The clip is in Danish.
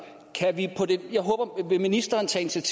vil ministeren tage